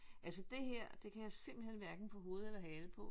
Altså det her det kan jeg simpelthen hverken få hoved eller hale på